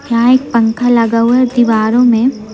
यहां एक पंखा लगा हुआ दीवारों में--